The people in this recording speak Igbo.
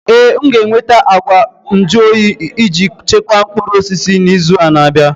Ee, m ga-enweta ngwa nju oyi iji chekwaa mkpụrụ osisi n'izu na-abịa.